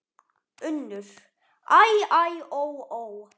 UNNUR: Æ, æ, ó, ó!